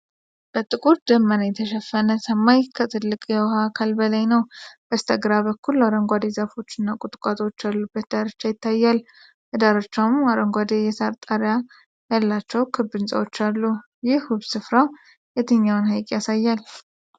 በጥቁር ደመና የተሸፈነ ሰማይ ከትልቅ የውሃ አካል በላይ ነው። በስተግራ በኩል አረንጓዴ ዛፎች እና ቁጥቋጦዎች ያሉበት ዳርቻ ይታያል። በዳርቻውም አረንጓዴ የሳር ጣሪያ ያላቸው ክብ ሕንፃዎች አሉ። ይህ ውብ ስፍራ የትኛውን ሀይቅ ያሳያል?